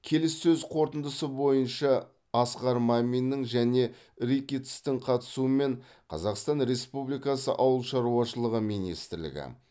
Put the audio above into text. келіссөз қорытындысы бойынша асқар маминнің және рикеттстің қатысуымен қазақстан республикасы ауыл шаруашылығы министрлігі